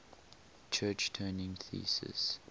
church turing thesis